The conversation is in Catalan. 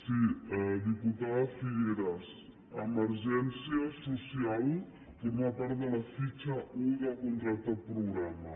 sí diputada figueras emergència social forma part de la fitxa un del contracte programa